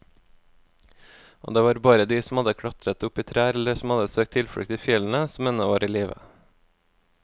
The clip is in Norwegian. Og det var bare de som hadde klatret opp i trær eller som hadde søkt tilflukt i fjellene, som ennå var i live.